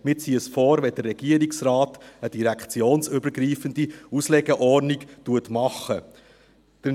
Wir würden es vorziehen, wenn der Regierungsrat eine direktionsübergreifende Auslegeordnung machen würde.